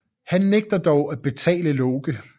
Han nægter dog at betale Loke